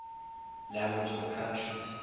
language countries